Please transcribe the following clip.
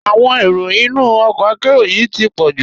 Awọn èró ìnú ọkọ àkéró yìí ti pọ̀ ju.